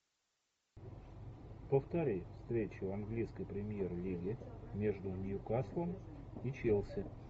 повтори встречу английской премьер лиги между ньюкаслом и челси